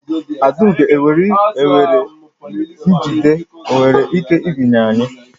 Adaugo nwere njide o nwere ike binye anyị